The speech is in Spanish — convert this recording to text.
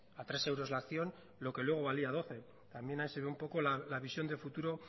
a tres euros la acción lo que luego valía a doce también hay se ve un poco la visión de futuro